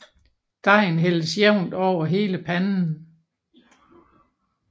Dejen hældes jævnt over hele panden